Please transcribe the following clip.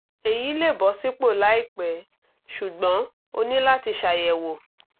èyí lè bọ́ sípò láìpẹ́ ṣùgbọ́n o ní láti ṣàyẹ̀wò